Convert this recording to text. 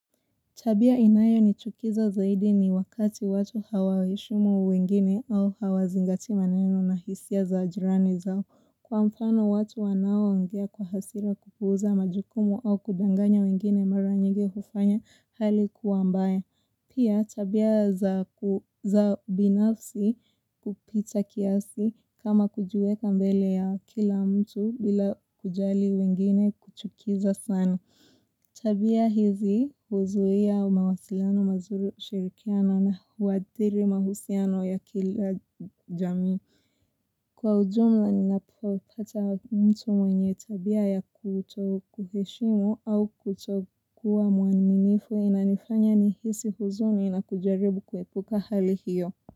Tabia inayo nichukiza zaidi ni wakati watu hawaheshimu wengine au hawazingati maneno na hisia za jirani zao. Kwa mfano watu wanaongea kwa hasira kupuuza majukumu au kudanganya wengine mara nyingi hufanya hali kuwa mbaya. Pia tabia za binafsi kupita kiasi kama kujiweka mbele ya kila mtu bila kujali wengine kuchukiza sana. Tabia hizi huzuia mawasilano mazuri ushirikiano na huathiri mahusiano ya kila jami. Kwa ujumla ninapopata mtu mwenye tabia ya kutokuheshimu au kutokua mwanimifu inanifanya ni hisi huzuni na kujaribu kuepuka hali hiyo.